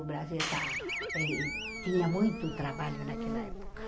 O Brasil está e tinha muito trabalho naquela época.